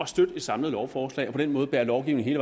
støtte et samlet lovforslag og på den måde bære lovgivningen